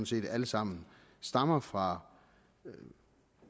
set alle sammen stammer fra